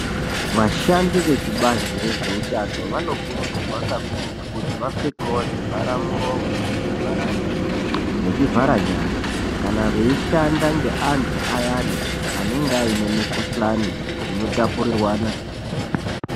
Vashandi vekubazi rezveutano vanokurudzirwa kakurutu kuti vapfekewo zvivharamiromo, zvivharamiro nezvivhara nyara kana veishanda ngeanthu ayani anenge ane mukuhlani inotapurirwana.